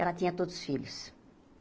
Ela tinha todos filhos.